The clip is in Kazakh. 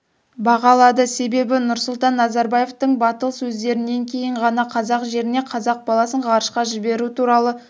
бағалады себебі нұрсұлтан назарбаевтың батыл сөздерінен кейін ғана қазақ жерінен қазақ баласын ғарышқа жіберу туралы